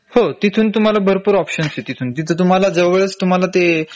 हो तिथून तुम्हाला भरपूर ऑपशन्स आहे तिथून तिथं तुम्हाला जवळच तुम्हाला ते